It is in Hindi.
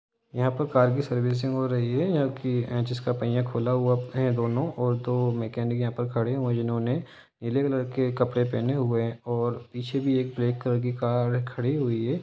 यहाँ पर कार की सर्विसिंग हो रही है जिसका पहिया खुला हुआ है दोनो और दो मैकेनिक यहां पर खड़े हुए हैं जिन्होनें नीले रंग की कपडे पहने हुए हैंऔर पिचे भी एक बालेक कलर की कर खड़ी हुई है।